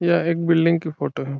यह एक बिल्डिंग की फोटो है।